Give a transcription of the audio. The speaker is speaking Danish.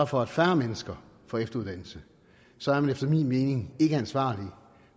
for at færre mennesker får efteruddannelse så er man efter min mening ikke ansvarlig